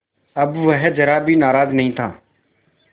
अब वह ज़रा भी नाराज़ नहीं था